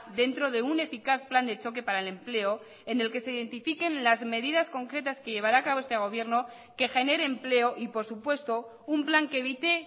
dentro de un eficaz plan de choque para el empleo en el que se identifiquen las medidas concretas que llevará acabo este gobierno que genere empleo y por supuesto un plan que evite